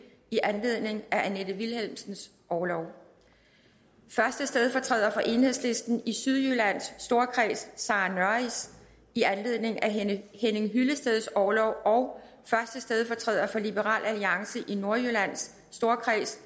i anledningen af annette vilhelmsens orlov første stedfortræder for enhedslisten i sydjyllands storkreds sarah nørris i anledningen af henning hyllesteds orlov og første stedfortræder for liberal alliance i nordjyllands storkreds